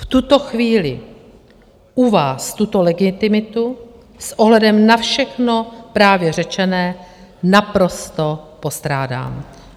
V tuto chvíli u vás tuto legitimitu s ohledem na všechno právě řečené naprosto postrádám.